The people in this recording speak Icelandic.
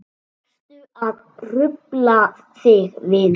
Varstu að hrufla þig vinur?